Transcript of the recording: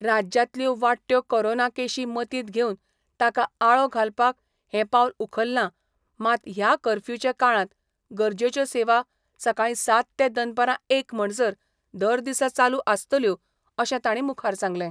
राज्यातल्यो वाडटयो कोरोना केशी मतीत घेवन ताका आळो घालपाक हे पावल उखल्ला मात या कर्फ्यूचे काळात गरजेच्यो सेवा सकाळी सात ते दनपारा एक म्हणसर दरदिसा चालू आसतल्यो अशे ताणी मुखार सांगले.